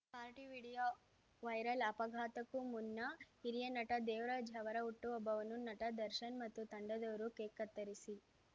party video viral ಅಪಘಾತಕ್ಕೂ ಮುನ್ನ ಹಿರಿಯ ನಟ ದೇವರಾಜ್‌ ಅವರ ಹುಟ್ಟಹಬ್ಬವನ್ನು ನಟ ದರ್ಶನ್‌ ಮತ್ತು ತಂಡದವರು ಕೇಕ್‌ ಕತ್ತರಿಸಿ